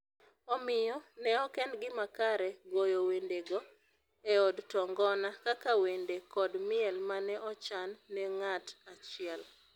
Omiyo, ne ok en gima kare goyo wendego e od to ngona kaka wende kod miel ma ne ochan ne ng’at achiel